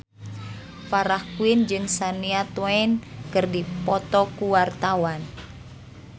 Farah Quinn jeung Shania Twain keur dipoto ku wartawan